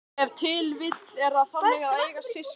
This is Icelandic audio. Ef til vill er það þannig að eiga systkin?